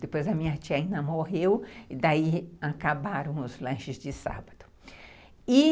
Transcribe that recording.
Depois a minha tia ainda morreu e daí acabaram os lanches de sábado. E